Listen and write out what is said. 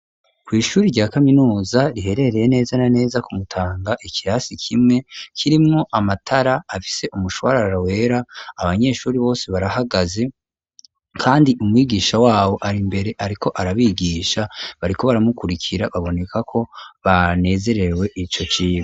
Kw'ishuri rya kaminuza riherereye neza na neza ku Mutanga ikirasi kimwe kirimwo amatara afise umushwarara wera abanyeshuri bose barahagaze kandi umwigisha wabo ari imbere ariko arabigisha bariko baramukurikira baboneka ko banezerewe ico cibo